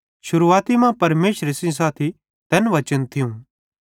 शुरुआती मां परमेशरे सेइं साथी तैन वचने थियूं